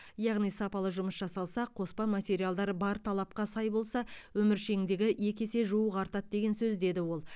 яғни сапалы жұмыс жасалса қоспа материалдар бар талапқа сай болса өміршеңдігі екі есе жуық артады деген сөз деді ол